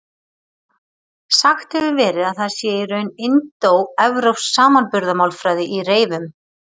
Sagt hefur verið að það sé í raun indóevrópsk samanburðarmálfræði í reyfum.